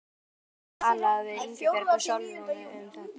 Fréttakona: Hefur þú talað við Ingibjörgu Sólrúnu um þetta?